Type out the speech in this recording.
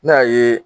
N'a ye